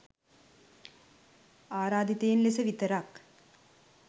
ආරාධිතයින් ලෙස විතරයි.